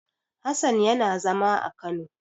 Hassan yana zama a Kano.